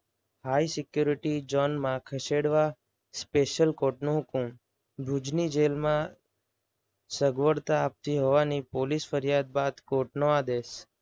high security zone મા ખસેડવા special court નું હુકુમ ભુજની જેલમાં સગવડતા આપતી હોવાની પોલીસ ફરિયાદ બાદ કોર્ટનો આદેશ.